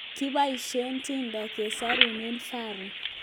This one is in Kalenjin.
kipoishei Tinder kesorunei Faru